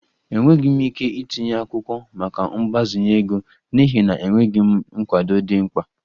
Enweghị m ike itinye akwụkwọ maka mgbazinye ego n'ihi na enweghị m nkwado dị mkpa